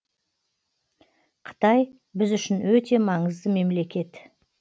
қытай біз үшін өте маңызды мемлекет